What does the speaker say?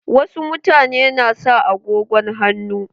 Wa su mutane na sa agogon hannu.